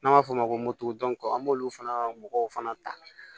N'an b'a f'o ma ko an b'olu fana mɔgɔw fana ta